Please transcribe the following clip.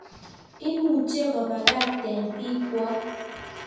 Imuche kobakakten bikwok